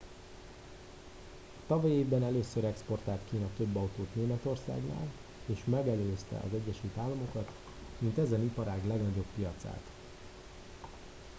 a tavalyi évben először exportált kína több autót németországnál és megelőzte az egyesült államokat mint ezen iparág legnagyobb piacát